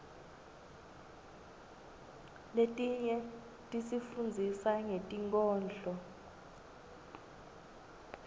letinye tisifundzisa ngetinkhondlo